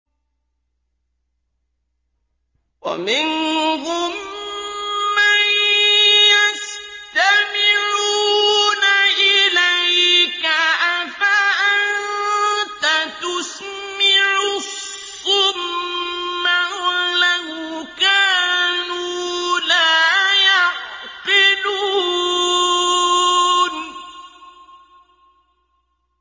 وَمِنْهُم مَّن يَسْتَمِعُونَ إِلَيْكَ ۚ أَفَأَنتَ تُسْمِعُ الصُّمَّ وَلَوْ كَانُوا لَا يَعْقِلُونَ